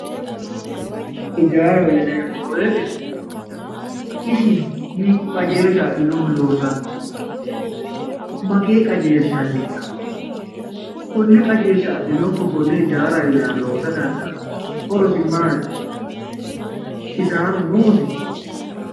Hijaraho yineemmo woyte hiikko qajeelshati loosanohu ,mageeshshi qajeelshi hasiisano ,kone qajeelshsha adhinokkihu kone hijaara loose dandaano, horosi maati ,kisaaru noosi ?